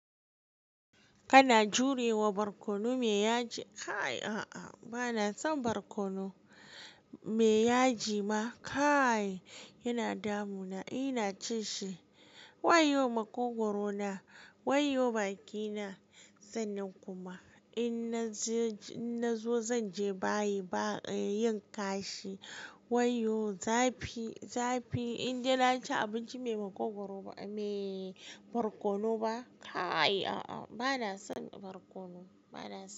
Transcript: Kana jurewa barkono mai yaji. Kaai a'a, bana son barkono mai yaji ma. Kaai yana damuna, ina ci shi. Waiyo makogwaro na, waiyo bakina. Sannan kuma in na je, in na zo zan je bayi ba, eh yin kashi. Wayoyo zafi, zafi. Inda na ci abinci mai makogwaro ba, me barkono ba. Kaai a'a, bana son barkono, bana son.